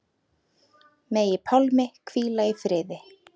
Megi Pálmi hvíla í friði.